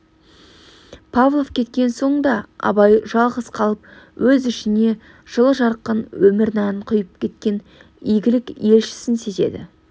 павлов кеткен соң да абай жалғыз қалып өз ішіне жылы жарқын өмір нәрін құйып кеткен игілік елшісін сезеді